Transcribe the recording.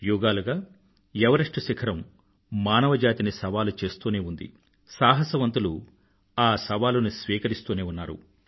యుగాలుగా ఎవరెస్ట్ శిఖరం మానవజాతిని సవాలు చేస్తూనే ఉంది సాహసవంతులు ఆ సవాలుని స్వీకరిస్తూనే ఉన్నారు